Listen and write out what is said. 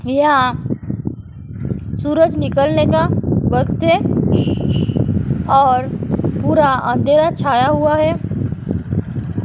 यह सूरज निकलने का वक्त है और पूरा अँधेरा छाया हुआ है।